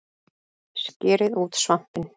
Skerið út svampinn